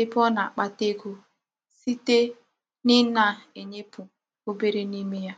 ebe o na-akpata ego site n'ina -enyepu obere n'ime ya